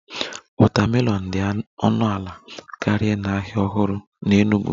Watermelon dị ọnụ ala karịa n'ahịa ọhụrụ n'Enugwu